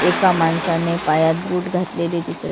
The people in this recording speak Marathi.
एका माणसाने पायात बूट घातलेले दिसत--